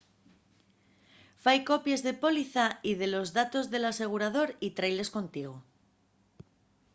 fai copies de la póliza y de los datos del asegurador y trailes contigo